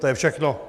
To je všechno.